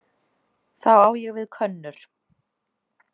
Þá á ég við könnur.